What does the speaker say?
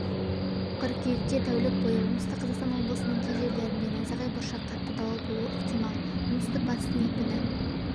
қыркүйекте тәулік бойы оңтүстік қазақстан облыстың кей жерлерінде найзағай бұршақ қатты дауыл болуы ықтимал оңтүстік-батыстан екпіні